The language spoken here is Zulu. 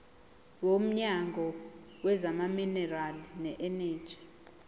womnyango wezamaminerali neeneji